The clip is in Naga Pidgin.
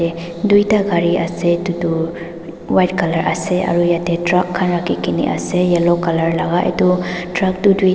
yate duita gari ase etutu white colour ase aru yate truck khan rakhikena ase yellow colour laga etu truck toh duita.